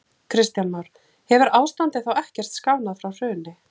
Kristján Már: Hefur ástandið þá ekkert skánað frá hruni?